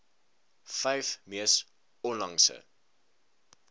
vyf mees onlangse